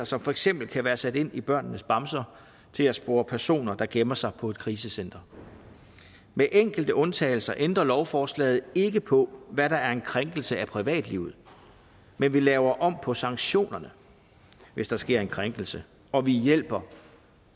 som for eksempel kan være sat ind i børnenes bamser til at spore personer der gemmer sig på et krisecenter med enkelte undtagelser ændrer lovforslaget ikke på hvad der er en krænkelse af privatlivet men vi laver om på sanktionerne hvis der sker en krænkelse og vi hjælper